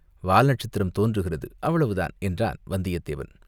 வால் நட்சத்திரம் தோன்றுகிறது, அவ்வளவுதான்!" என்றான் வந்தியத்தேவன்.